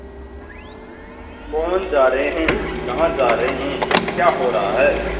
कौन जा रहे हैं कहाँ जा रहे हैं क्या हो रहा है